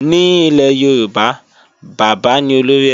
Ní ilé Yorùbá, bábà ní olórí ẹbí